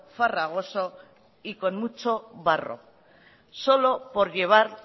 farragoso y con mucho barro solo por llevar